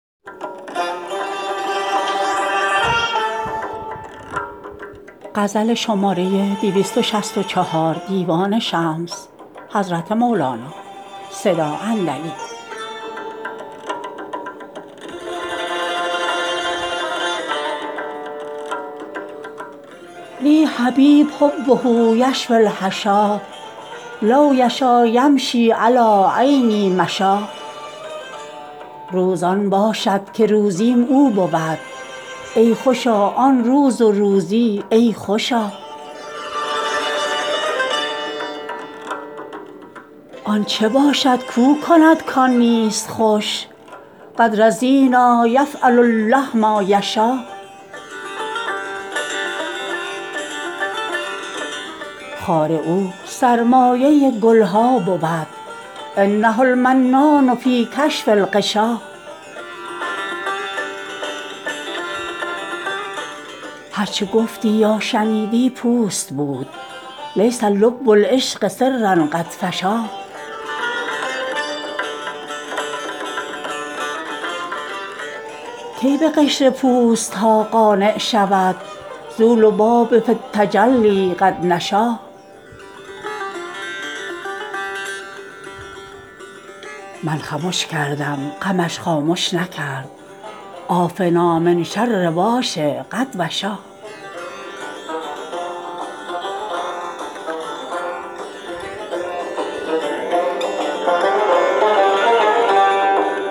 لی حبیب حبه یشوی الحشا لو یشا یمشی علی عینی مشا روز آن باشد که روزیم او بود ای خوشا آن روز و روزی ای خوشا آن چه باشد کو کند کان نیست خوش قد رضینا یفعل الله ما یشا خار او سرمایه گل ها بود انه المنان فی کشف الغشا هر چه گفتی یا شنیدی پوست بود لیس لب العشق سرا قد فشا کی به قشر پوست ها قانع شود ذو لباب فی التجلی قد نشا من خمش کردم غمش خامش نکرد عافنا من شر واش قد وشا